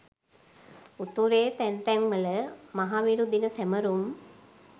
උතුරේ තැන් තැන් වල මහවිරු දින සැමරුම්